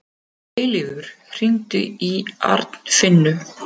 Eilífur, hringdu í Arnfinnu.